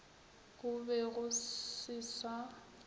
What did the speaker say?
go be go se sa